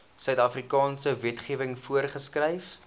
suidafrikaanse wetgewing voorgeskryf